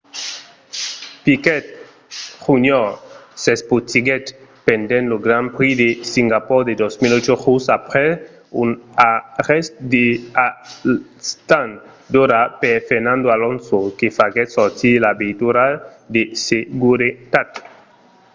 piquet jr. s'espotiguèt pendent lo grand prix de singapor de 2008 just aprèp un arrèst a l'stand d'ora per fernando alonso que faguèt sortir la veitura de seguretat